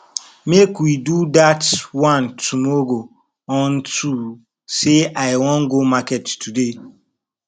make we do dat one tomorrow unto say i wan go market today